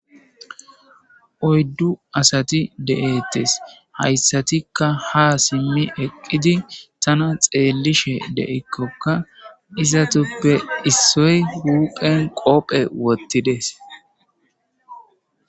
oyddu asati de7ettes hayssatikka ha simmi eqqidi tana xeelishe de7ekkokka izatuppe issoy wuphen qoophe wottides